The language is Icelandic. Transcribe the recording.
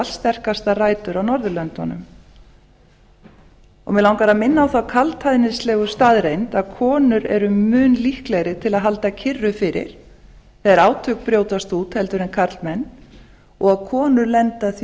sterkastar rætur á norðurlöndunum mig langar að minna á þá kaldhæðnislegu staðreynd að konur eru mun líklegri til að halda kyrru fyrir þegar átök brjótast út heldur en karlmenn og að konur lendaþví